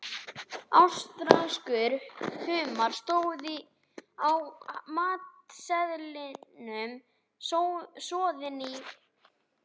Ástralskur humar, stóð á matseðlinum, soðinn í